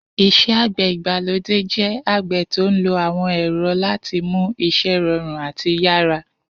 Is̩é̩ àgbè̩ ìgbàlódé jé̩ àgbè̩ tó ń lo àwo̩n è̩ro̩ láti mú is̩é̩ ro̩rùn àti yárà.